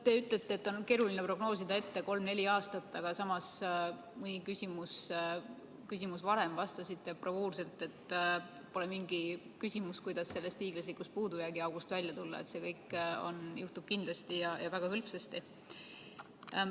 Te ütlete, et on keeruline prognoosida 3–4 aastat ette, samas mõni küsimus varem vastasite bravuurselt, et pole mingi küsimus, kuidas sellest hiiglaslikust puudujäägiaugust välja tulla, ja et see kõik juhtub kindlasti ja väga hõlpsasti.